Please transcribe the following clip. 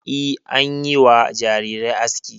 E, an yi wa jarirai aski.